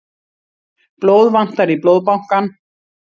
Blóð vantar í Blóðbankann